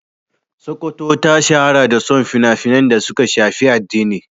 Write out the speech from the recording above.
Sokoto ta shahara da son fina-finan da suka shafi addini.